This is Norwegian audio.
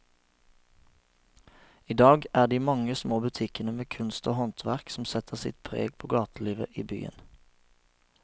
I dag er det de mange små butikkene med kunst og håndverk som setter sitt preg på gatelivet i byen.